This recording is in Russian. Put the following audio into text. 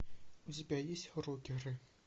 у тебя есть рокеры